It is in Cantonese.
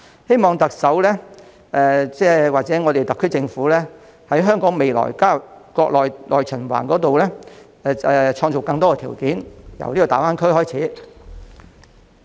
希望特首或特區政府在香港未來加入國內內循環方面創造更多條件，由大灣區開始。